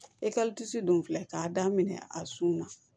E tisi dun filɛ k'a daminɛ a sun na